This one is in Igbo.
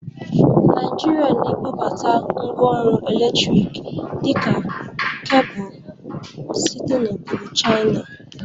Naịjịrịa na-ebubata ngwa ọrụ eletrik dị ka kebụl site n'obodo Chaina.